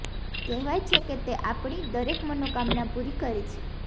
કહેવાય છે કે તે આપણી દરેક મનોકામના પૂરી કરે છે